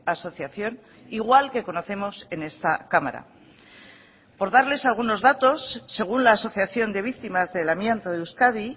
asociación igual que conocemos en esta cámara por darles algunos datos según la asociación de víctimas del amianto de euskadi